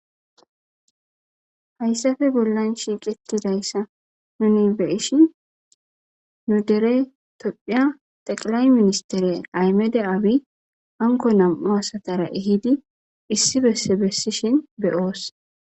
Hayssafe bollan shiiqetidayssa nuni beishin nu dere tophiya xeqilay ministeriya aymede aawi anko nam'u asatara ehidi issi besse bessishin beyoos.